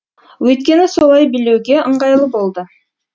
өйткені солай билеуге ыңғайлы болды